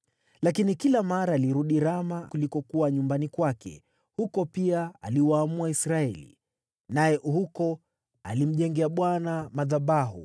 Lakini kila mara alirudi Rama, kulikokuwa nyumbani kwake, huko pia aliwaamua Israeli. Naye huko alimjengea Bwana madhabahu.